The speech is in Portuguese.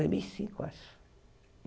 Dois mil e cinco, acho.